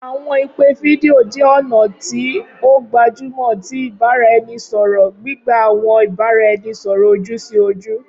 Awọn ipe fidio jẹ ọna ti o gbajumọ ti ibaraẹnisọrọ, gbigba awọn ibaraẹnisọrọ oju-si-oju.